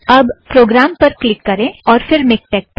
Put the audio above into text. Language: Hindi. अब प्रोगाम पर क्लिक करें और फ़िर मिक्टेक पर